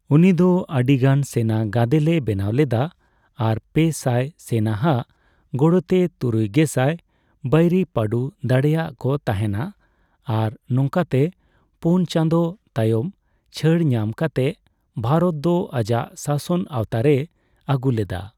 ᱩᱱᱤ ᱫᱚ ᱟᱹᱰᱤᱜᱟᱱ ᱥᱮᱱᱟ ᱜᱟᱫᱮᱞᱮ ᱵᱮᱱᱟᱣ ᱞᱮᱫᱟ, ᱟᱨ ᱯᱮ ᱥᱟᱭ ᱥᱮᱱᱟ ᱟᱜ ᱜᱚᱲᱚᱛᱮ ᱛᱩᱨᱩᱭ ᱜᱮᱥᱟᱭ ᱵᱟᱹᱭᱨᱤᱭ ᱯᱟᱸᱰᱩ ᱫᱟᱲᱮᱭᱟᱜ ᱠᱚ ᱛᱟᱦᱮᱱᱟ, ᱟᱨ ᱱᱚᱝᱠᱟᱛᱮ ᱯᱳᱱ ᱪᱟᱸᱫᱚ ᱛᱟᱭᱚᱢ ᱪᱷᱟᱹᱲ ᱧᱟᱢ ᱠᱟᱛᱮ ᱵᱷᱟᱨᱚᱛ ᱫᱚ ᱟᱡᱟᱜ ᱥᱟᱥᱚᱱ ᱟᱣᱛᱟᱨᱮᱭ ᱟᱹᱜᱩ ᱞᱮᱫᱟ ᱾